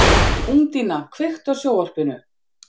Úndína, kveiktu á sjónvarpinu.